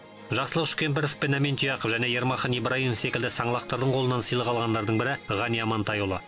жақсылық үшкемпіров пен әмин тұяқов және ермахан ибрайымов секілді саңлақтардың қолынан сыйлық алғандардың бірі ғани амантайұлы